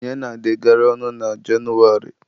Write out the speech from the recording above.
Ihe na-adị agara ọnụ na Jenụwarị.